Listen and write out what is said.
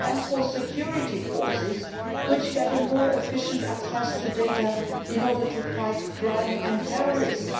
and for security forces, which get more efficient access to data in order to fight crime and terrorism.